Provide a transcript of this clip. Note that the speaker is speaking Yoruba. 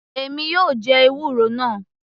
Èmi yóò jẹ ewúro náà.